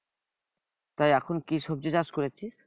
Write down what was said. তা এখন কি সবজি চাষ করেছিস?